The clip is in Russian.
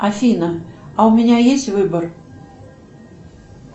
афина а у меня есть выбор